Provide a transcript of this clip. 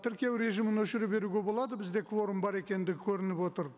тіркеу режимін өшіре беруге болады бізде кворум бар екендігі көрініп отыр